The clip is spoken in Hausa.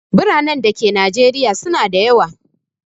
Biranen da ke najeriya su na da yawa